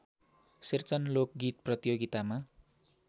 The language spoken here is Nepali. शेरचन लोकगीत प्रतियोगितामा